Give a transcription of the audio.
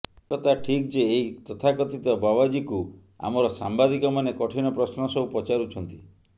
ଏକଥା ଠିକ ଯେ ଏହି ତଥାକଥିତ ବାବାଜିକୁ ଆମର ସାମ୍ବାଦିକମାନେ କଠିନ ପ୍ରଶ୍ନ ସବୁ ପଚାରୁଛନ୍ତି